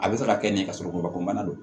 A bɛ se ka kɛ nin kasɔrɔ gulɔkɔnɔna don